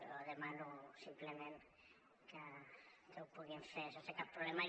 jo demano simplement que ho puguin fer sense cap problema